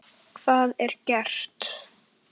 Hvað er gert?